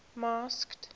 masked